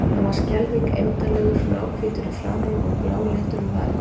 Hann var skelfing eymdarlegur, náhvítur í framan og bláleitur um varirnar.